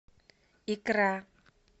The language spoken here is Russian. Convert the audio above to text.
икра